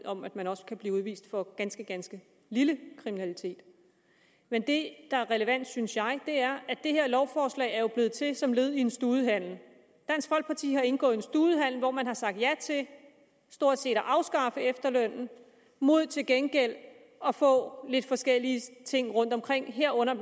om at man også kan blive udvist for ganske ganske lille kriminalitet men det der er relevant synes jeg er at det her lovforslag jo er blevet til som led i en studehandel dansk folkeparti har indgået en studehandel hvor man har sagt ja til stort set at afskaffe efterlønnen mod til gengæld at få lidt forskellige ting rundtomkring herunder